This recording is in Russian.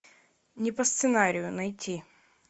не по сценарию найти